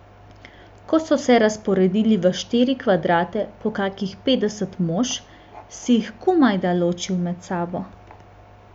Ko so se razporedili v štiri kvadrate po kakih petdeset mož, si jih komajda ločil med sabo.